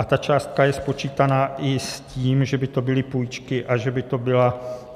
A ta částka je spočítaná i s tím, že by to byly půjčky a